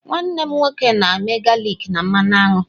Nwanne m nwoke na-eme galik na mmanụ aṅụ.